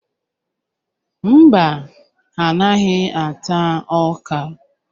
Mba, ha anaghị ata ọ́kà.